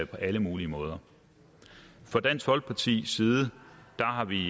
alle mulige måder fra dansk folkepartis side har vi